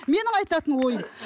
менің айтатын ойым